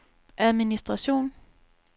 administration